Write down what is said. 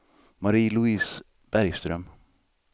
Marie-Louise Bergström